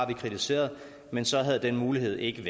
vi kritiseret men så havde den mulighed ikke